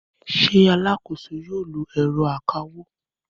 Ṣé alákòóso yóò lo ẹ̀rọ akawó?